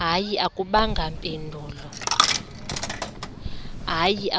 hayi